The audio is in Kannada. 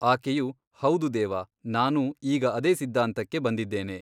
ಆಕೆಯು ಹೌದು ದೇವ ನಾನೂ ಈಗ ಅದೇ ಸಿದ್ಧಾಂತಕ್ಕೆ ಬಂದಿದ್ದೇನೆ.